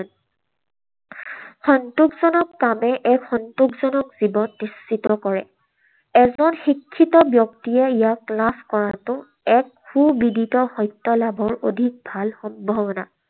সন্তোষজনক কামে এক সন্তোষজনক জীৱন নিশ্চিত কৰে। এজন শিক্ষিত ব্যক্তিয়ে ইয়াক লাভ কৰাটো এক সুবিদিত সত্য লাভৰ অধিক ভাল সম্ভাৱনা।